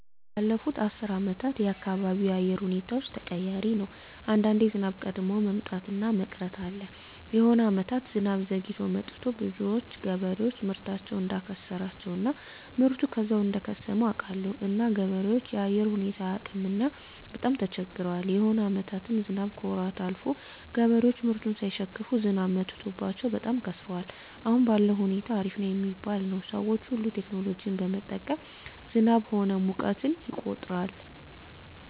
ባለፋት አስር አመታት የአካባቢው የአየር ሁኔታዎች ተቀያሪ ነው አንዳንዴ ዝናብ ቀድሞ መምጣት እና መቅረት አለ የሆነ አመታት ዝናብ ዘግይቶ መጥቱ ብዙዎች ገበሬዎች ምርታቸውን እዳከሰራቸው እና ምርቱ ከዛው እደከሰመ አውቃለሁ እና ገበሬዎች የአየር ሁኔታው አያውቅምና በጣም ተቸግረዋል የሆነ አመታትም ዝናብ ከወራት አልፎ ገበሬዎች ምርቱን ሳይሸክፋ ዝናብ መትቶባቸው በጣም ከስረዋል አሁን ባለዉ ሁኔታ አሪፍ ነው ሚባል ነው ሰዎች ሁሉ ቴክኖሎጂ በመጠቀም ዝናብ ሆነ ሙቀትን ይቆጠራል